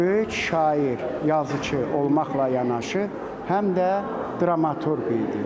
Böyük şair, yazıçı olmaqla yanaşı, həm də dramaturq idi.